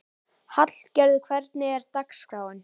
Hallgarður, hvernig er dagskráin?